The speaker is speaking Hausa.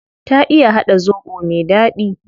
Ta iya hada zobo me dadi